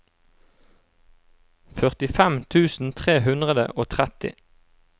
førtifem tusen tre hundre og tretti